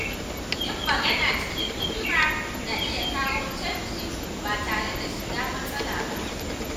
Yin magana cikin hikima na iya kawo canji ba tare da shiga matsala ba.